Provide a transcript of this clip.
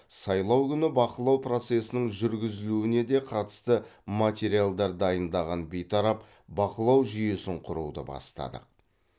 сайлау күні бақылау процесінің жүргізілуіне де қатысты материалдар дайындаған бейтарап бақылау жүйесін құруды бастадық